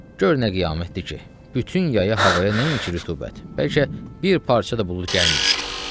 Gör nə qiyamətdir ki, bütün yaya havaya nəinki rütubət, bəlkə bir parça da bulud gəlməyib.